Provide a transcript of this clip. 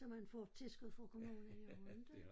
Så man får tilskud fra kommunen jo inte